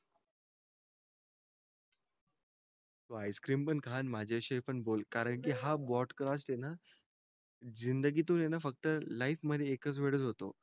हो तू आईस्क्रिम पण खा नी माझा शी पण बोल कारण कि हा ब्रॉडकास्ट आहे न जिंदगीतून आहे न फक्त लाईफ मध्ये एकच वेळ होतो